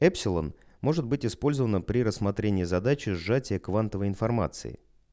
эпсилон может быть использовано при рассмотрении задачи сжатия квантовой информации